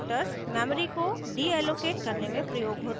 destructors memory memory को deallocate deallocate करने में प्रयोग होते हैं